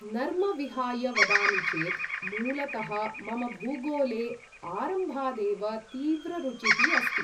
नर्म विहाय वदामि चेत्, मूलतः मम भूगोले आरम्भादेव तीव्ररुचिः अस्ति।